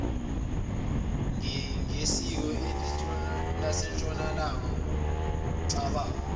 ngesiko lasentshonalanga ngokucabanga